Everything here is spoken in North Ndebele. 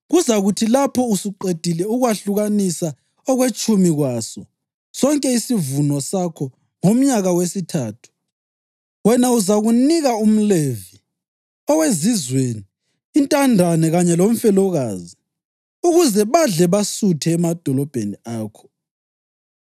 Kuzakuthi lapho usuqedile ukwahlukanisa okwetshumi kwaso sonke isivuno sakho ngomnyaka wesithathu, okungumnyaka wokwetshumi, wena uzakunika umLevi, owezizweni, intandane kanye lomfelokazi, ukuze badle basuthe emadolobheni akho.